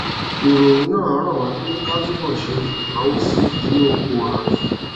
ìròyìn náà rọ wá pé ká túbò ṣe ìnáwó sí i nínú òràn yìí